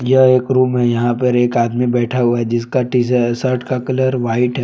यह एक रूम है यहां पर एक आदमी बैठा हुआ है जिसका टीशर्ट का कलर व्हाइट है।